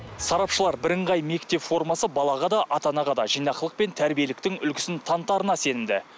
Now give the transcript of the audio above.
сарапшылар бірыңғай мектеп формасы балаға да ата анаға да жинақылық пен тәрбиеліктің үлгісін танытарына сенімді